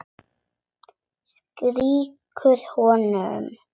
Strýkur honum.